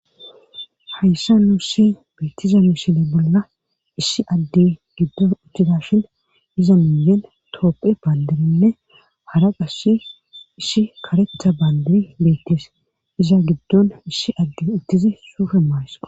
Hayssa nuussi beettiza nuusile bolla issi adde giddon uttidashin iza muyen toopphe baandirinne hara qass issi karetha baandiri beettees iza giddon issi adde ittizi suufe maaysqo.